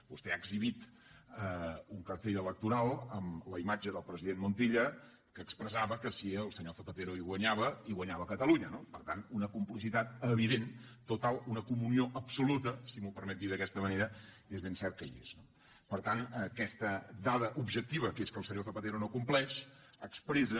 vostè ha exhibit un cartell electoral amb la imatge del president montilla que expressava que si el senyor zapatero hi guanyava hi guanyava catalunya no per tant una complicitat evident total una comunió absoluta si m’ho permet dir d’aquesta manera és ben cert que hi és no per tant aquesta dada objectiva que és que el senyor zapatero no compleix expressa